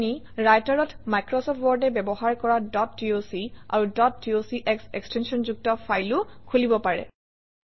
আপুনি Writer অত Microsoft Word এ ব্যৱহাৰ কৰা ডট ডক আৰু ডট ডক্স এক্সটেনশ্যনযুক্ত ফাইলো খুলিব পাৰে